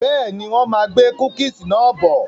Bẹ́ẹ̀ni, wọn máa gbé "cookies" náà bọ̀.